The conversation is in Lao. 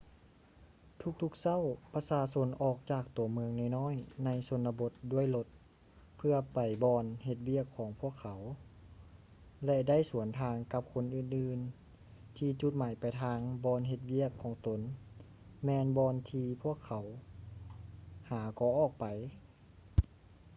ທຸກໆເຊົ້າ ປະຊາຊົນອອກຈາກຕົວເມືອງນ້ອຍໆໃນຊົນນະບົດດ້ວຍລົດ ເພື່ອໄປບ່ອນເຮັດວຽກຂອງພວກເຂົາ ແລະ ໄດ້ສວນທາງກັບຄົນອື່ນໆ ທີ່ຈຸດໝາຍປາຍທາງບ່ອນເຮັດວຽກຂອງຕົນ ແມ່ນບ່ອນທີ່ພວກເຂົາຫາກໍອອກໄປ